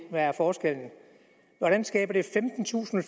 hvad er forskellen hvordan skaber det femtentusind